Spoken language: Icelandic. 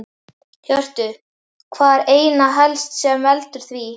Hjörtur: Hvað er einna helst sem að veldur því?